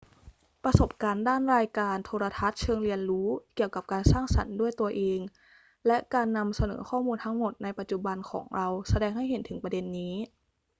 ประสบการณ์ด้านรายการโทรทัศน์เชิงเรียนรู้เกี่ยวกับการสร้างสรรค์ด้วยตนเอง และการนำเสนอข้อมูลทั้งหมดในปัจจุบันของเราแสดงให้เห็นถึงประเด็นนี้